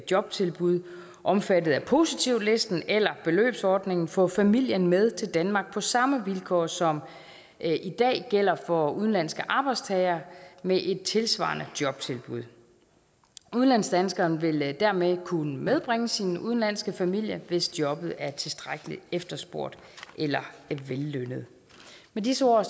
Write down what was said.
jobtilbud omfattet af positivlisten eller beløbsordningen få familien med til danmark på samme vilkår som i dag gælder for udenlandske arbejdstagere med et tilsvarende jobtilbud udlandsdanskeren vil dermed kunne medbringe sin udenlandske familie hvis jobbet er tilstrækkelig efterspurgt eller vellønnet med disse ord